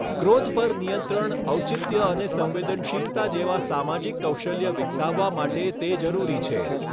ક્રોધ પર નિયંત્રણ ઔચિત્ય અને સંવેદનશીલતા જેવા સામાજિક કૌશલ્ય વિકસાવવા માટે તે જરૂરી છે